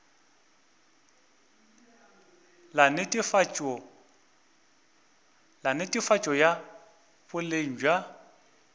la netefatšo ya boleng bja